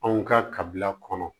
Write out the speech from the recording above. Anw ka kabila kɔnɔ